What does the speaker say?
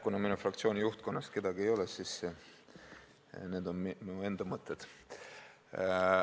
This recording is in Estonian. Kuna minu fraktsiooni juhtkonnast kedagi kohal ei ole, siis märgin, et need on minu enda mõtted.